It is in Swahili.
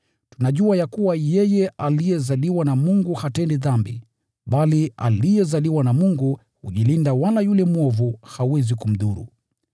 Tunajua ya kuwa yeye aliyezaliwa na Mungu hatendi dhambi, bali aliyezaliwa na Mungu hujilinda, wala yule mwovu hawezi kumdhuru.